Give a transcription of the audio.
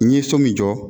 N ye so min jɔ